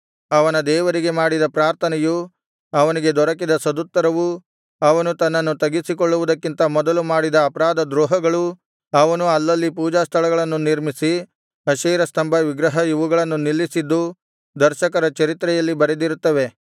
ಅವನ ದೇವರಿಗೆ ಮಾಡಿದ ಪ್ರಾರ್ಥನೆಯೂ ಅವನಿಗೆ ದೊರಕಿದ ಸದುತ್ತರವೂ ಅವನು ತನ್ನನ್ನು ತಗ್ಗಿಸಿಕೊಳ್ಳುವುದಕ್ಕಿಂತ ಮೊದಲು ಮಾಡಿದ ಅಪರಾಧದ್ರೋಹಗಳೂ ಅವನು ಅಲ್ಲಲ್ಲಿ ಪೂಜಾಸ್ಥಳಗಳನ್ನು ನಿರ್ಮಿಸಿ ಅಶೇರ ಸ್ತಂಭ ವಿಗ್ರಹ ಇವುಗಳನ್ನು ನಿಲ್ಲಿಸಿದ್ದೂ ದರ್ಶಕರ ಚರಿತ್ರೆಯಲ್ಲಿ ಬರೆದಿರುತ್ತವೆ